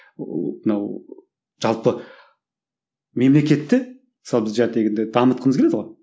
ыыы мынау жалпы мемлекетті мысалы біз дамытқымыз келеді ғой